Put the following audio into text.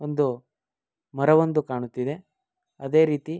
ಒಂದು ಮರ ಒಂದು ಕಾಣುತ್ತಿದೆ ಅದೆ ರೀತಿ